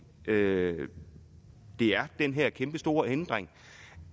det er den her kæmpestore ændring